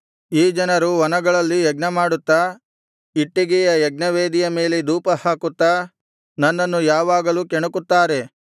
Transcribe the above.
ಈ ಜನರು ವನಗಳಲ್ಲಿ ಯಜ್ಞ ಮಾಡುತ್ತಾ ಇಟ್ಟಿಗೆಯ ಯಜ್ಞವೇದಿಯ ಮೇಲೆ ಧೂಪಹಾಕುತ್ತಾ ನನ್ನನ್ನು ಯಾವಾಗಲೂ ಕೆಣಕುತ್ತಾರೆ